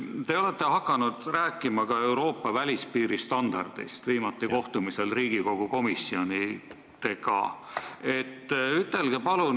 Te olete hakanud rääkima ka Euroopa välispiiri standardist, viimati tegite seda kohtumisel Riigikogu komisjonidega.